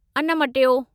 अन्न मटियो